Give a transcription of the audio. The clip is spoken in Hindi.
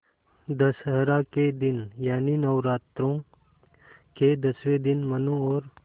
दशहरा के दिन यानि नौरात्रों के दसवें दिन मनु और